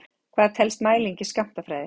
Hvað telst mæling í skammtafræði?